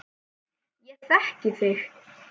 Ég þekki þig.